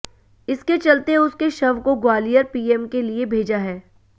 इसके चलते उसके शव को ग्वालियर पीएम के लिए भेजा है